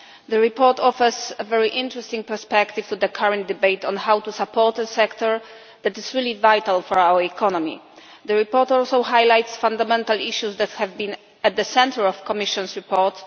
The report offers a very interesting perspective for the current debate on how to support the sector, something that is really vital for our economy. The report also highlights fundamental issues that have been at the centre of the Commission's report.